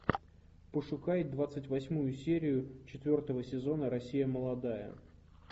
пошукай двадцать восьмую серию четвертого сезона россия молодая